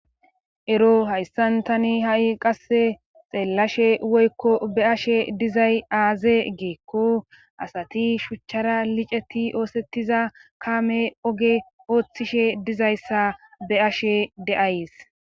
ero hayssan tani ha7i qasse xeellashe woykko be ashe dizay aaze geekko asati shuchchara liceti oosettiza kaame oge ooththishe dizayssa be ashe de7ays